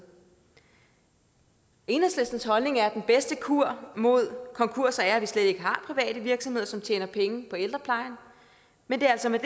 enhedslistens holdning er at den bedste kur mod konkurser er at vi slet ikke har private virksomheder som tjener penge på ældrepleje men det er altså med